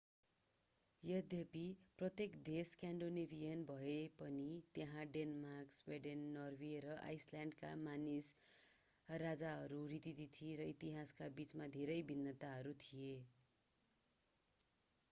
यद्यपि प्रत्येक देश स्कान्डिनेभियन भए पनि त्यहाँ डेनमार्क स्विडेन नर्वे र आइसल्यान्डका मानिस राजाहरू रीतिथिति र इतिहासका बीचमा धेरै भिन्नताहरू थिए